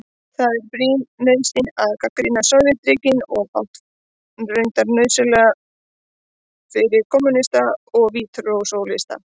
Það er brýn nauðsyn að gagnrýna Sovétríkin og reyndar fátt nauðsynlegra fyrir kommúnista og vinstrisósíalista.